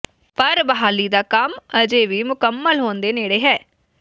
ਪਰ ਬਹਾਲੀ ਦਾ ਕੰਮ ਅਜੇ ਵੀ ਮੁਕੰਮਲ ਹੋਣ ਦੇ ਨੇੜੇ ਹੈ